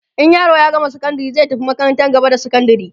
in yaro ya gama sakandari zai tafi makarantar gaba da sakandari